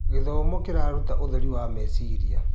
Gĩthomo kĩraruta ũtheri wa meciria.